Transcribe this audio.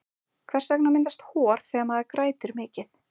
hvers vegna myndast hor þegar maður grætur mikið